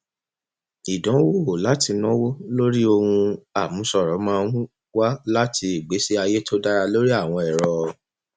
ìdanwo láti náwó lórí ohun àmúṣọrọ máa ń wá láti ìgbésí ayé tó dára lórí àwọn ẹrọ